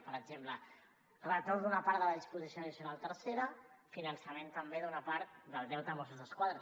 per exemple retorn d’una part de la disposició addicional tercera finançament també d’una part del deute de mossos d’esquadra